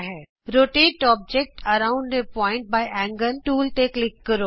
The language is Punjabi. rotate object around a point by angle tool ਤੇ ਕਲਿਕ ਕਰੋ